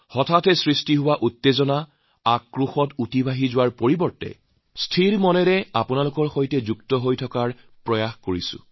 তৎকালিন উত্তেজনা আক্ৰোশ হৈ থাকিলে তাৰ মাজতে নোসোমাই স্থিৰ মন লৈ আপোনালোকৰ সৈতে জড়িত হৈ থকাৰ চেষ্টা কৰিছোঁ